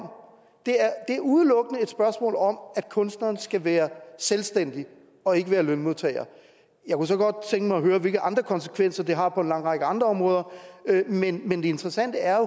det er er udelukkende et spørgsmål om at kunstneren skal være selvstændig og ikke være lønmodtager jeg kunne så godt tænke mig at høre hvilke andre konsekvenser det har på en lang række andre områder men det interessante er